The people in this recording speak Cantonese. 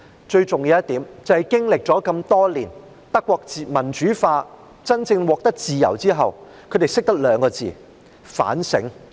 最重要的一點是，德國經歷了多年的民主化，在真正獲得自由後，他們學懂了兩個字——反省。